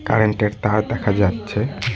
Current -এর তার দেখা যাচ্ছে।